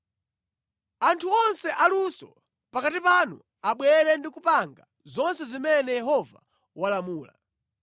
“Anthu onse aluso pakati panu abwere ndi kupanga zonse zimene Yehova walamula: